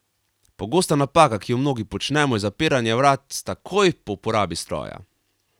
Pogosta napaka, ki jo mnogi počnemo, je zapiranje vratc takoj po uporabi stroja.